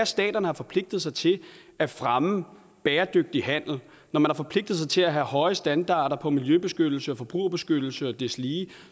staterne har forpligtet sig til at fremme bæredygtig handel når man har forpligtet sig til at have høje standarder på miljøbeskyttelse og forbrugerbeskyttelse og deslige